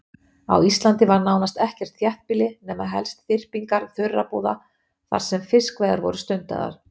Á Íslandi var nánast ekkert þéttbýli nema helst þyrpingar þurrabúða þar sem fiskveiðar voru stundaðar.